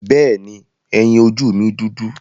Bẹ́ẹ̀ni, ẹyin ojú mi dúdú.